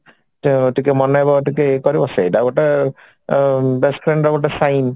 ତ ଟିକେ ମନେଇବ ଟିକେ ଇଏ କରିବ ସେଇଟା ଗୋଟେ ଅ best friend ର ଗୋଟେ sign